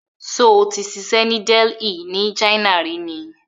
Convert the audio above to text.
Ṣó ti ṣiṣę ni Delhi ni China rí ni?